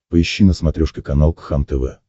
поищи на смотрешке канал кхлм тв